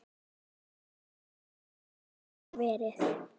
Hvernig hafa síðustu dagar verið?